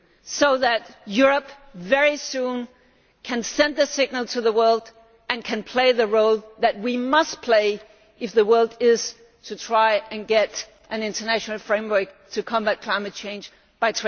so that Europe can very soon send a signal to the world and play the role that we must play if the world is to try to get an international framework to combat climate change in place by